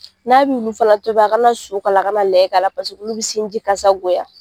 N'a b'i nunnu fana tobi a ka na su ka la, a ka na layi k'ala paseke olu bɛ sin ji kasagoya.